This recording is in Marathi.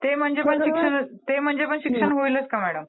ते म्हणजे पण शिक्षण ते म्हणजे पण शिक्षण होईलच का मॅडम?